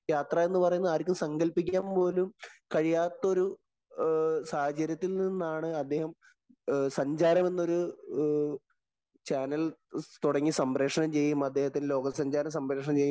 യാത്ര എന്ന് പറയുന്നത് ആര്‍ക്കും സങ്കല്‍പ്പിക്കാന്‍ പോലും കഴിയാത്തൊരു സാഹചര്യത്തില്‍ നിന്നാണ് അദ്ദേഹം സഞ്ചാരം എന്നൊരു ചാനല്‍ തൊടങ്ങി സംപ്രേക്ഷണം ചെയ്യുകയും, അദ്ദേഹത്തിന്‍റെ ലോകസഞ്ചാരം സംപ്രേക്ഷണം ചെയ്യുകയും